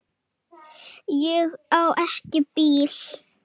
Ég á ekki bíl.